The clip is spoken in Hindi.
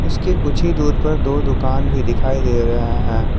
इसके कुछ ही दूर पर दो दुकान भी दिखाई दे रहा है।